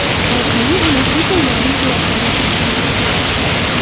AdMe ana shu joylarning suratlarini taqdim etdi .